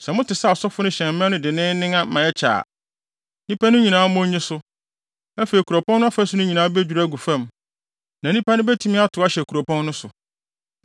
Sɛ mote sɛ asɔfo no hyɛn mmɛn no denneennen ma ɛkyɛ a, nnipa no nyinaa mmɔ nnye so. Afei kuropɔn no afasu nyinaa bedwiriw agu fam, na nnipa no betumi atow ahyɛ kuropɔn no so.”